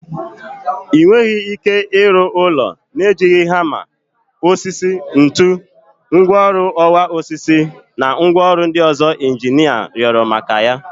Ị nweghị ike ịrụ ụlọ na-ejighị hama, osisi, ntu, ngwaọrụ ọwa osisi na ngwaọrụ ndị ọzọ injinia rịọrọ maka ya.